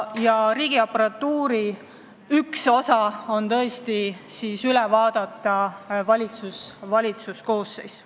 Ja riigiaparatuuri üks osa on valitsus.